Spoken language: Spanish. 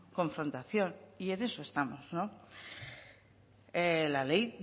confrontación y en eso estamos la ley